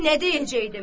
Nə deyəcəkdim?